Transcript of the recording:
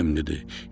İbrahim dedi: